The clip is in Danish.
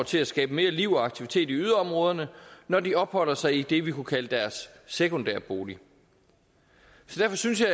til at skabe mere liv og aktivitet i yderområderne når de opholder sig i det vi kunne kalde deres sekundære bolig så derfor synes jeg